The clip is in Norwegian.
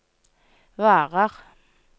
varer